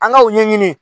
An ka u ɲɛɲini